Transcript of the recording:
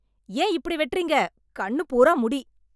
ஏன் இப்படி வெட்டுறீங்க? கண்ணு பூரா முடி.